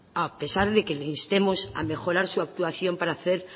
a pesar de que le instemos a mejorar su actuación para hacer